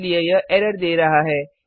इसलिए यह एरर दे रहा है